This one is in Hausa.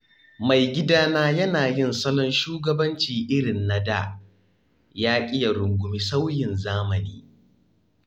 Maigidana yana yin salon shugabanci irin na da, yaƙi ya rungumi sauyin zamani.